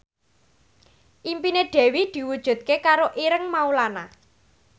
impine Dewi diwujudke karo Ireng Maulana